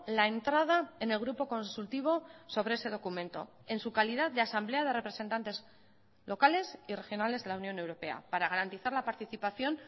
la entrada en el grupo consultivo sobre ese documento en su calidad de asamblea de representantes locales y regionales de la unión europea para garantizar la participación